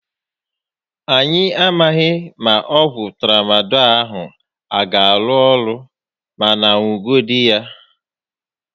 Anyị a maghị ma ọgwụ Tramadọl a a gá arụ orụ, mànà ṅugodu ya